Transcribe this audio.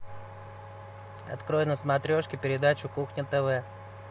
открой на смотрешке передачу кухня тв